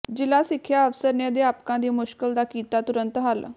ਜ਼ਿਲ੍ਹਾ ਸਿੱਖਿਆ ਅਫ਼ਸਰ ਨੇ ਅਧਿਆਪਕਾਂ ਦੀ ਮੁਸ਼ਕਿਲ ਦਾ ਕੀਤਾ ਤੁਰੰਤ ਹੱਲ